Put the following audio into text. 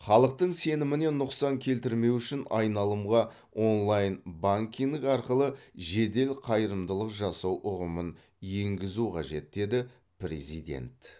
халықтың сеніміне нұқсан келтірмеу үшін айналымға онлайн банкинг арқылы жедел қайырымдылық жасау ұғымын енгізу қажет деді президент